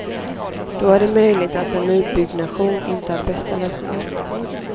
Då är det möjligt att en nybyggnation inte är bästa lösningen.